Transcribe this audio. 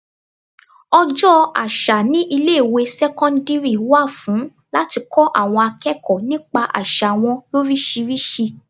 Ọjọ́ àṣà ní ilé ìwé sẹ́cọ́ndírì wà fún láti kọ́ àwọn akẹ́kọ̀ọ́ nípa àsà wọn lorisirisi.